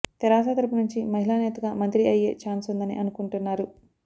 తేరాస తరపు నుంచి మహిళా నేతగా మంత్రి అయ్యే ఛాన్సుందని అనుకుంటున్నారు